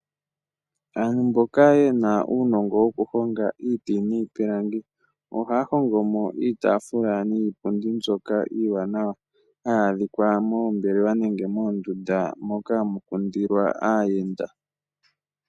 Aantu mboka yena uunogo, wo kuhonga iiti niipilangi, ohaya hongomo iitafula niipundi mbyoka iiwanawa, haya dhikwa moombelelwa nenge moondunda mpoka hamu kundilwa aayenda.